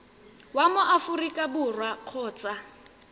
wa mo aforika borwa kgotsa